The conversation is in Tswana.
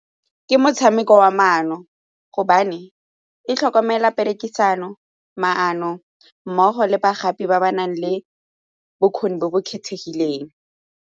Ke motshameko wa maano gobane e tlhokomela perekisano, maano mmogo le bagodi ba ba nang le bokgoni bo bo kgethegileng.